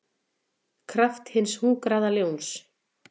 kraft hins hungraða ljóns.